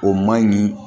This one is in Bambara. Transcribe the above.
O man ɲi